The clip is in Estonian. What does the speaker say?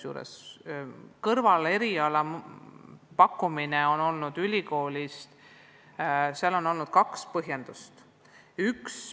Kõrvaleriala pakkumiseks on ülikoolil olnud kaks põhjendust.